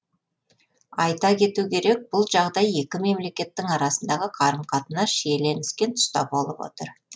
айта кету керек бұл жағдай екі мемлекеттің арасындағы қарым қатынас шиленіскен тұста болып отыр